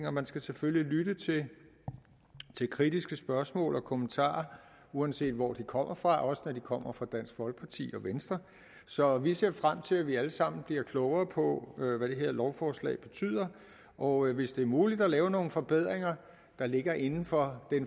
og man skal selvfølgelig lytte til kritiske spørgsmål og kommentarer uanset hvor de kommer fra også når de kommer fra dansk folkeparti og venstre så vi ser frem til at vi alle sammen bliver klogere på hvad det her lovforslag betyder og hvis det er muligt at lave nogle forbedringer der ligger inden for